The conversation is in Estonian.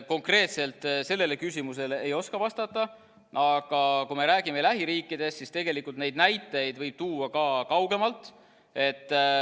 Konkreetselt sellele küsimusele ei oska vastata, aga kui me räägime lähiriikidest, siis tegelikult neid näiteid võib tuua ka kaugemalt.